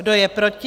Kdo je proti?